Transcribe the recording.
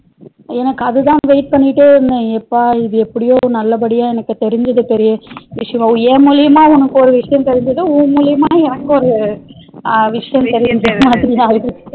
எனக்கு அதுதா wait பண்ணிட்டே இருந்த எப்பா இது எப்டியோ நல்லா படியா எனக்கு தெருஞ்சது பெரியவிசயம் என் மூழியமா உனக்கு ஒரு விசயம் தெருஞ்சது உன் மூழியமா எனக்கு ஒரு விசயம் தெருஞ்சது